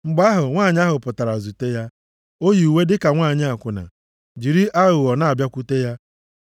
Mgbe ahụ, nwanyị ahụ pụtara zute ya. O yi uwe dịka nwanyị akwụna, jiri aghụghọ na-abịakwute ya.